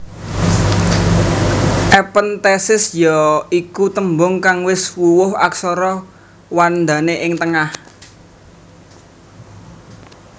Ephenthesis ya iku tembung kang wis wuwuh aksara wandane ing tengah